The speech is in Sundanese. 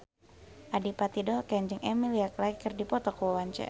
Adipati Dolken jeung Emilia Clarke keur dipoto ku wartawan